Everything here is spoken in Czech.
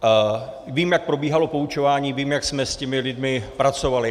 Vím, jak probíhalo poučování, vím, jak jsme s těmi lidmi pracovali.